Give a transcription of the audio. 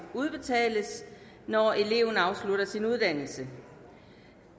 udbetales når eleven afslutter sin uddannelse